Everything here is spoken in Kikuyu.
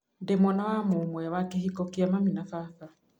Ndĩ mwana wa mũmwe wa kĩ hiko kĩa mami na baba.